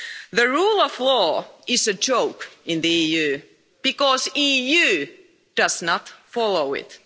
The rule of law is a joke in the EU because the EU does not follow it.